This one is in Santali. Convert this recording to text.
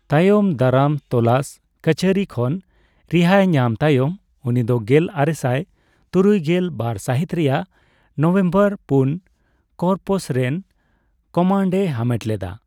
ᱛᱟᱭᱚᱢ ᱫᱟᱨᱟᱢ ᱛᱚᱞᱟᱥ ᱠᱟᱹᱪᱷᱟᱹᱨᱤ ᱠᱷᱚᱱ ᱨᱤᱦᱟᱹᱭ ᱧᱟᱢ ᱛᱟᱭᱚᱢ, ᱩᱱᱤ ᱫᱚ ᱜᱮᱞ ᱟᱨᱮᱥᱟᱭ ᱛᱩᱨᱩᱭᱜᱮᱞ ᱵᱟᱨ ᱥᱟᱹᱦᱤᱛ ᱨᱮᱭᱟᱜ ᱱᱚᱵᱷᱮᱢᱵᱚᱨ ᱯᱩᱱ ᱠᱚᱨᱯᱚᱥ ᱨᱮᱱ ᱠᱚᱢᱟᱱᱰᱼᱮ ᱦᱟᱢᱮᱴ ᱞᱮᱫᱟ ᱾